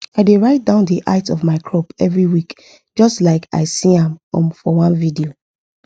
i dey write down the height of my crop every week just like i see am um for one video